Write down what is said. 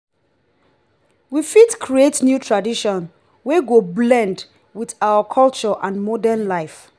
we fit create new traditions wey go blend with our culture and modern life.